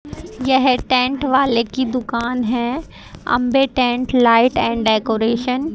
यह टेंट वाले की दुकान है Ambe tent light and decoration --